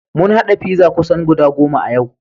Mun haɗa pizza kusan goda goma yau.